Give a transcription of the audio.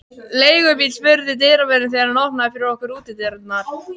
Leigubíl? spurði dyravörðurinn, þegar hann opnaði fyrir okkur útidyrnar.